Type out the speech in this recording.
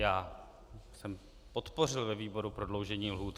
Já jsem podpořil ve výboru prodloužení lhůt.